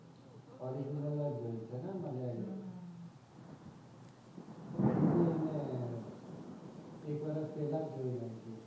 original જોયી છે મલયાલી માં એબી મેં એક વરશ પેહલા જોયી નાખી છે.